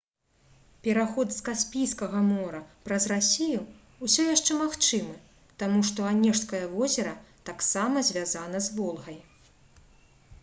пераход з каспійскага мора праз расію ўсё яшчэ магчымы таму што анежскае возера таксама звязана з волгай